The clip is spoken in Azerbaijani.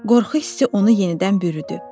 Qorxu hissi onu yenidən bürüdü.